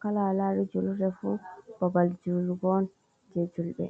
kala ha alari julurde fu babal julugon je juulɓe.